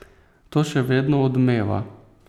To še vedno odmeva.